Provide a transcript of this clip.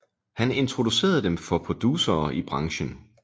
Han introducerede dem for producere i branchen